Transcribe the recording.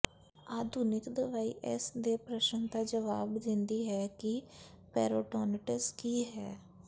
ਆਧੁਨਿਕ ਦਵਾਈ ਇਸ ਦੇ ਪ੍ਰਸ਼ਨ ਦਾ ਜਵਾਬ ਦਿੰਦੀ ਹੈ ਕਿ ਪੈਰੀਟੋਨਿਟਿਸ ਕੀ ਹੈ